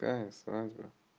я сразу